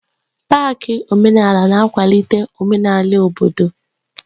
Pááki omenala na-akwalite omenala obodo